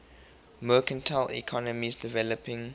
mercantile economies developing